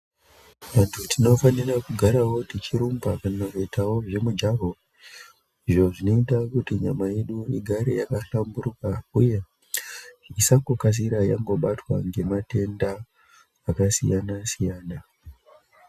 Vantu tinofanirawo kugara tichi rumba kana kuitawo zvemujaho izvo zvinoita kuti nyama yedu igare yaka hlamburika uye isangokasira yabatwa nematenda akasiyana siyana.